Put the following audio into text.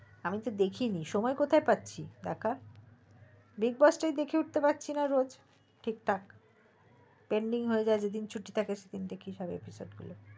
আমি তো দেখিই নি সময় কোথায় পাচ্ছি দেখার bigboss টাই দেখে উঠে পারছি না রোজ ঠিকঠাক এমনি দুইদিন ছুটি থাকে দুইদিন